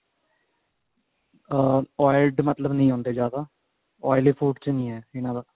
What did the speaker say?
ਅਹ oiled ਮਤਲਬ ਨਹੀ ਹੁੰਦੇ ਜਿਆਦਾ